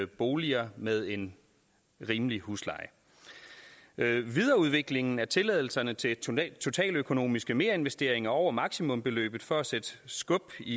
boliger med en rimelig husleje videreudviklingen af tilladelserne til totaløkonomiske merinvesteringer over maksimumsbeløbet for at sætte skub i